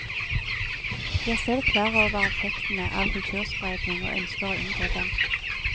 De er selv klar over effektene av kulturspredning, og ønsker å unngå dem.